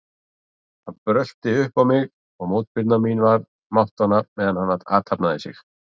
Hann brölti upp á mig og mótspyrna mín var máttvana meðan hann athafnaði sig.